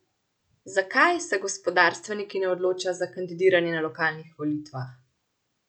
Zakaj se gospodarstveniki ne odločajo za kandidiranje na lokalnih volitvah?